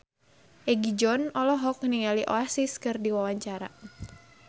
Egi John olohok ningali Oasis keur diwawancara